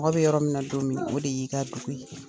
Mɔgɔ be yɔrɔ min na don min, o de y'i ka dugu ye.